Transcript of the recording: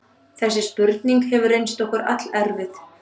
Þessi spurning hefur reynst okkur allerfið.